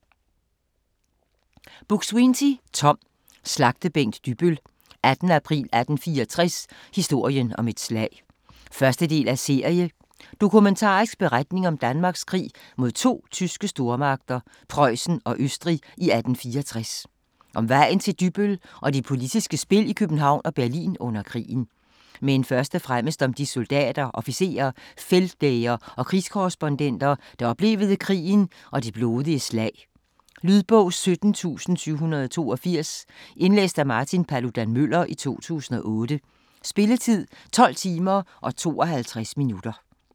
Buk-Swienty, Tom: Slagtebænk Dybbøl: 18. april 1864: historien om et slag 1. del af serie. Dokumentarisk beretning om Danmarks krig mod to tyske stormagter, Prøjsen og Østrig i 1864 - om vejen til Dybbøl og det politiske spil i København og Berlin under krigen. Men først og fremmest om de soldater, officerer, feltlæger og krigskorrespondenter, der oplevede krigen og det blodige slag. Lydbog 17782 Indlæst af Martin Paludan-Müller, 2008. Spilletid: 12 timer, 52 minutter.